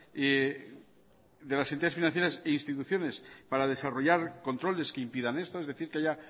e instituciones para desarrollar controles que impiden esto es decir que haya